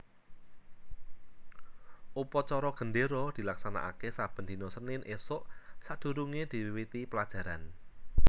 Upacara gendéra dilaksanakaké saben dina Senin ésuk sadurungé diwiwiti pelajaran